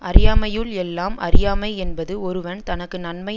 அறியாமையுள் எல்லாம் அறியாமை என்பது ஒருவன் தனக்கு நன்மை